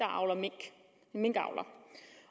avler mink en minkavler